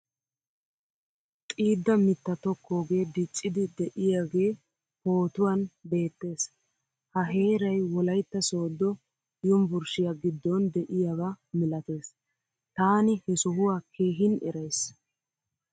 Xiidda mitta tokkoge diccidi deiyage pootuwan beettees. Ha heeray wolaytta sodo yunvurshiyaa giddon deiyaba milattees. Taani he sohuwaa keehin eraysi.